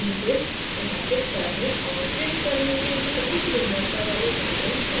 images प्रकाशित करने और प्रिंट करने के लिए उच्च गुणवत्ता वाली rendering set की जाती है